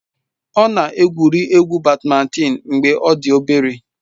Ọ na-egwuri egwu bádmintịn mgbe ọ dị obere.